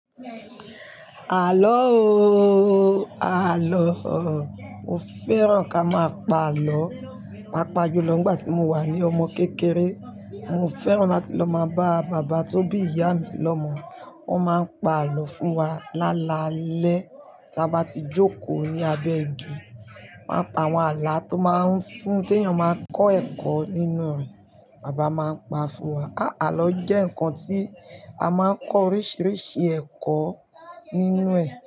Àlọ ooo àlọ, mo fẹ́ràn ká má pa àlọ, pàpà ju lọ nígbà tí mo wà ní ọmọ kékeré. Mo fẹ́ràn láti lọ má bá bàbá tó bí ìyá mi lọmọ, wọ́n má ń pa àlọ fún wa lálaalẹ́ tí a bá ti jókòó ní abẹ́ igi. Wọ́n a pa àwọn àlá tó máa ń fún tèèyàn máa kọ́ ẹ̀kọ́ nínú rẹ̀, bàbá máa ń paa fún wa. Àlọ jẹ́ ǹkan tí a máa ń kọ oríṣiríṣi ẹ̀kọ́ nínú rẹ̀